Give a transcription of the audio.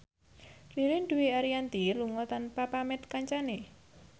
Ririn Dwi Ariyanti lunga tanpa pamit kancane